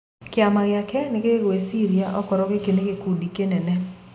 "Kiama giake nigigwiciria okorwo giki ni gikundi kinene.